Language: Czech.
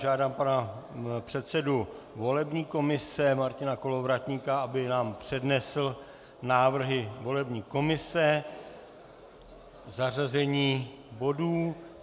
Žádám pana předsedu volební komise Martina Kolovratníka, aby nám přednesl návrhy volební komise, zařazení bodů.